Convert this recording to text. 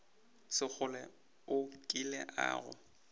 sekgole o kile a go